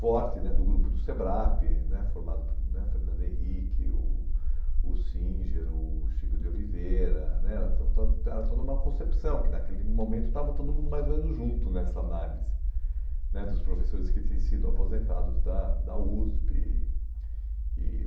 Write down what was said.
forte né do grupo do SEBRAP né, formado por né Fernando Henrique, o o Singer, o Chico de Oliveira né, era to to toda era toda uma concepção, que naquele momento estava todo mundo mais ou menos junto nessa análise né, dos professores que tinham sido aposentados da da USP. E e